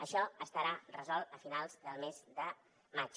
això estarà resolt a finals del mes de maig